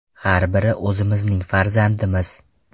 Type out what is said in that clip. Har biri o‘zimizning farzandimiz.